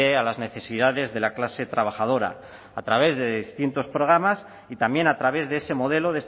a las necesidades de la clase trabajadora a través de distintos programas y también a través de ese modelo